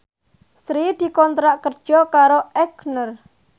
Sri dikontrak kerja karo Aigner